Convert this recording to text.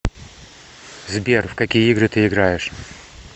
сбер в какие игры ты играешь